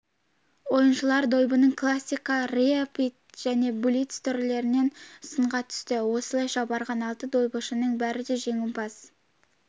ойыншылар дойбының классика рапид және блиц түрлерінен сынға түсті осылайша барған алты дойбышының бәрі де жеңімпаз